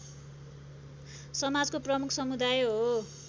समाजको प्रमुख समुदाय हो